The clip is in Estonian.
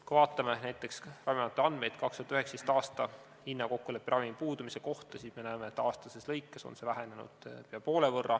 Kui vaatame näiteks Ravimiameti andmeid 2019. aasta hinnakokkulepperavimi puudumise kohta, siis me näeme, et aastate jooksul on see vähenenud peaaegu poole võrra.